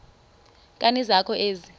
nkani zakho ezi